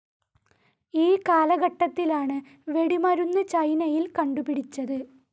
ഈ കാലഘട്ടത്തിലാണ് വെടിമരുന്ന് ചൈനയിൽ കണ്ടുപിടിച്ചത്.